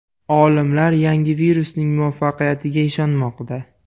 Olimlar yangi virusning muvaffaqiyatiga ishonmoqda.